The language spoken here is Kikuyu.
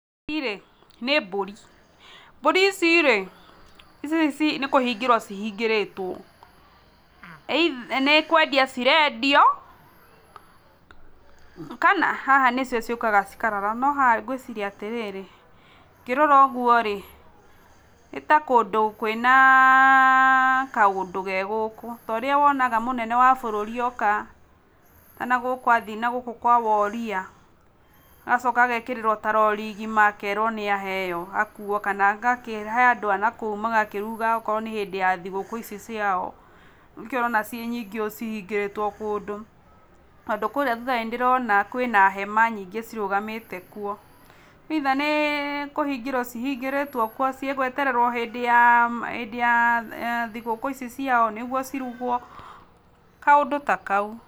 irĩ nĩ mbũri, mbũri ici rĩ ici nĩ kũhingĩrwo cihingĩrĩtwo either nĩkwendia cirendio kana haha nĩcio ciũkaga cikarara, no haha ngwĩciria atĩrĩrĩ, ngĩrora ũguo rĩ nĩ ta kũndũ kwĩnaaa kaũndũ ge gũkũ ta ũrĩa wonaga mũnene wa bũrũri oka kana gũkũ athiĩ nagũkũ kwa woria, agacoka agekĩrĩro ta rori ngima akerwo nĩaheo akuo kana agakĩhe andũ a nakũu magakĩruga akorwo nĩ hĩndĩ ya thigũkũ ici ciao, nĩkĩo ũrona ci nyingĩ ũũ cihingĩrĩtwo kũndũ, tondũ kũrĩa thutha nĩndĩrona kwĩna hema nyingĩ cirũgamĩte kuo, either nĩkũhingĩruo cihingĩrĩtuo kuo cigwetererwo hĩndĩ ya hĩndĩ ya thigũkũ ici ciao nĩguo ciruguo, kaũndũ ta kau.